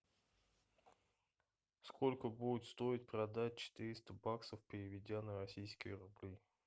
сколько будет стоить продать четыреста баксов переведя на российские рубли